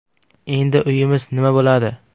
Endi uyimiz nima bo‘ladi?